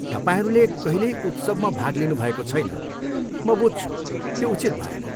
तपाईँहरूले कहिल्यै उत्सवमा भाग लिनुभएको छैन, म बुझ्छु यो उचित भएन।